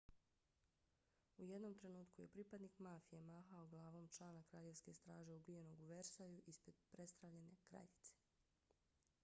u jednom trenutku je pripadnik mafije mahao glavom člana kraljevske straže ubijenog u versaju ispred prestravljene kraljice